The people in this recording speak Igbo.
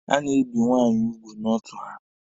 Ebe a na-ebi nwaanyị ugwu bụ n'ọtụ ha.